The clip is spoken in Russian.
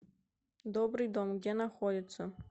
добрый дом где находится